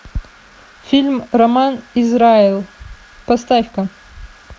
фильм роман израэл поставь ка